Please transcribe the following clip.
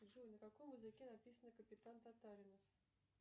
джой на каком языке написан капитан татаринов